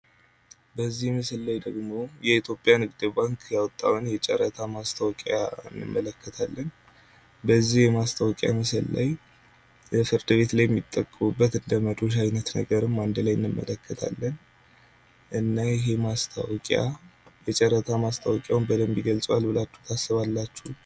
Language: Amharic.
በዚህ ምስል ላይ ደግሞ የኢትዮጵያ ንግድ ባንክ ያወጣውን የጨረታ ማስታወቂያ እንመለከታለን። በዚህ የማስታወቂያ ምስል ላይ ፍርድ ቤት የሚጠቀሙበት እንደመዶሻ አይነት ነገርም አንድ ላይ እንመለከታለን። እና ይሄ ማስታወቂያ የጨረታ ማስታወቂያውን በደንብ ይገልጸዋል ብላችሁ ታስባላችሁ?